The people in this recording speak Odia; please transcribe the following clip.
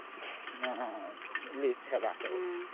List ହେବେ ଆଉ